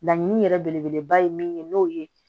Laɲini yɛrɛ belebeleba ye min ye n'o ye